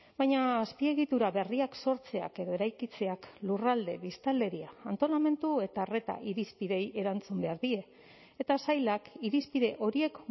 baina azpiegitura berriak sortzeak edo eraikitzeak lurralde biztanleria antolamendu eta arreta irizpideei erantzun behar die eta sailak irizpide horiek